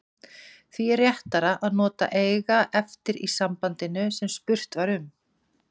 Því er réttara að nota eiga eftir í sambandinu sem spurt var um.